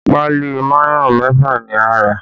Páálí mayonẹ mẹ́fà ni a rà